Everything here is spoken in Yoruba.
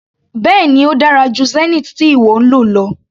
Bẹ́ẹ̀ni ó dára jù Zenith tí ìwọ ń lò lọ.